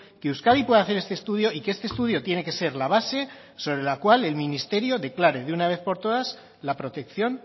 que euskadi puede hacer este estudio y que este estudio tiene que ser la base sobre la cual el ministerio declare de una vez por todas la protección